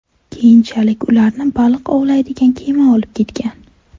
Keyinchalik ularni baliq ovlaydigan kema olib ketgan.